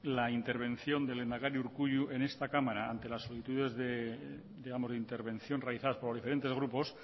la intervención del lehendakari urkullu en esta cámara ante las solicitudes de la intervención realizadas por diferentes grupos